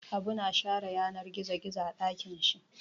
Habu na share yanar gizo gizo a ɗakin shi.